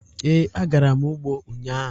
Ee, agara m ugbo ụnyahụ.